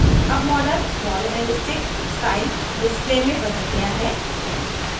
अब model ball and stick style display में ball गया है